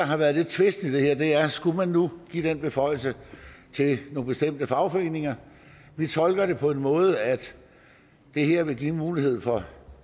har været tvisten i det her er skulle man nu give den beføjelse til nogle bestemte fagforeninger vi tolker det på den måde at det her vil give en mulighed for